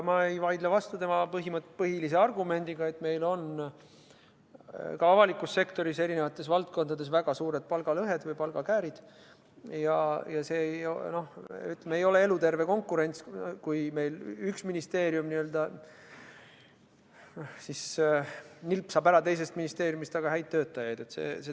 Ma ei vaidle vastu tema põhilisele argumendile, et meil on avalikus sektoris eri valdkondades väga suured palgalõhed või palgakäärid ja see ei ole eluterve konkurents, kui üks ministeerium n-ö nilpsab teisest ministeeriumist väga häid töötajaid.